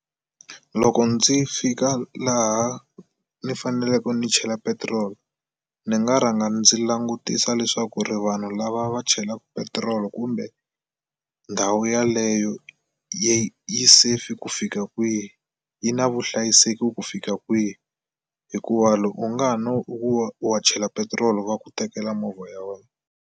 Loko ndzi fika laha ni faneleke ni chela petiroli ni nga rhanga ndzi langutisa leswaku ri vanhu lava va chelaka petiroli kumbe ndhawu yaleyo yi yi safe ku fika kwihi. Yi na vuhlayiseki ku fika kwihi hikuva loko u nga ha no u wa chela petiroli wa ku tekela movha ya wena.